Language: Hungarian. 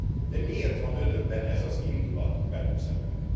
De miért van Önökben ez az indulat velünk szemben?